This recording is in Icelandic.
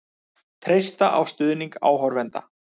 Treysta á stuðning áhorfenda